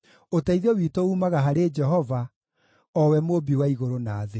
Ũteithio witũ uumaga harĩ Jehova, o we Mũũmbi wa igũrũ na thĩ.